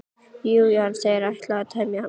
Jú, jú, hann sagðist ætla að temja hann.